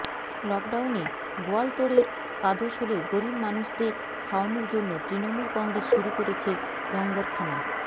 লকডাউনে গোয়ালতোড়ের কাদোশোলে গরিব মানুষদের খাওয়ানোর জন্য তৃণমূল কংগ্রেস শুরু করেছে লঙ্গরখানা